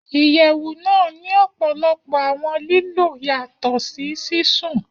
Iyẹwu naa ni ọpọlọpọ awọn lilo yatọ si sisun.